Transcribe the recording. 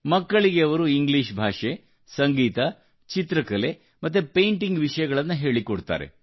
ಮಕ್ಕಳಿಗೆ ಅವರು ಇಂಗ್ಲೀಷ್ ಭಾಷೆ ಸಂಗೀತ ಮತ್ತು ಚಿತ್ರಕಲೆ ಹಾಗೂ ಪೈಂಟಿಂಗ್ ವಿಷಯಗಳನ್ನು ಹೇಳಿಕೊಡುತ್ತಾರೆ